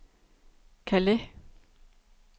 Calais